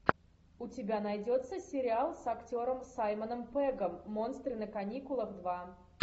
у тебя найдется сериал с актером саймоном пеггом монстры на каникулах два